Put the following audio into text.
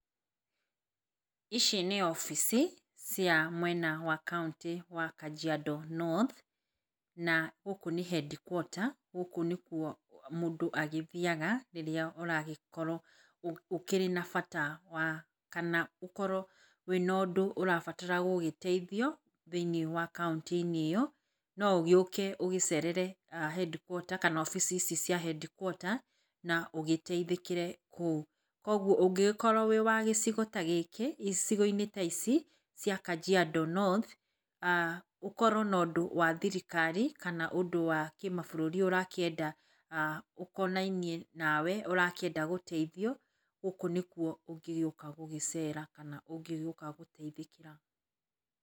Ici nĩ obici cia mwena wa kauntĩ ya Kajiando North na gũkũ nĩ cs]headquarters gũkũ nĩkuo mũndũ agĩthiaga rĩrĩa ũragĩkorwo ũkĩrĩ na bata kana ũkorwo wĩna ũndũ ũrabatara gũgĩteithio thĩiniĩ wa kauntĩ- inĩ ĩyo. Noũgĩũke ũgĩcerere headquarters kana obici ici cia headquarter na ũgĩteithĩkĩre kũu. Koguo ũngĩgĩkorwo wĩwa gĩcigo inĩ ta gĩkĩ, icigo-inĩ cia Kajiando North ũkorwo na ũndũ wa thirikari kana ũndũ wa kĩmabũrũri ũrakĩenda ũkonainie nawe ũrakĩenda gũteithio gũkũ nĩkuo ũngĩgĩũka gũcera kana ũngĩgĩũka gũteithĩkĩra.